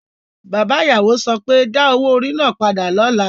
Bàbá ìyàwó so pé, Da owó orí náà padà lọ́la!